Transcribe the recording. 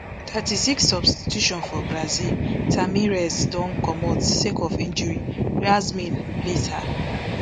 thirty-sixsubstitution for brazil tamires don comot sake of injury yasmin replace her